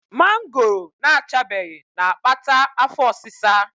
Mangoro na-achabeghị na-akpata afọ ọsịsa.